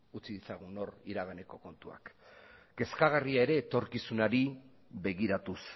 utzi dezagun hor iraganeko kontuak kezkagarria ere etorkizunari begiratuz